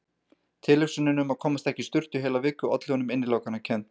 Tilhugsunin um að komast ekki í sturtu í heila viku olli honum innilokunarkennd.